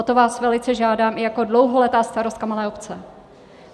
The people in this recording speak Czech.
O to vás velice žádám i jako dlouholetá starostka malé obce.